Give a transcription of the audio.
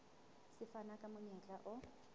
se fana ka monyetla o